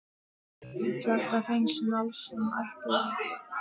Kjartan Hreinn Njálsson: Ætti forseti að vísa þessu til þjóðarinnar?